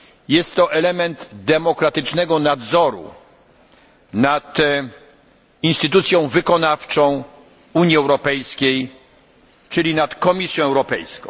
Jest to element demokratycznego nadzoru nad instytucją wykonawczą Unii Europejskiej, czyli nad Komisją Europejską.